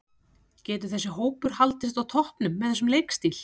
Getur þessi hópur haldist á toppnum með þessum leikstíl?